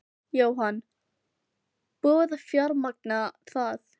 Jóhann: Búið að fjármagna það?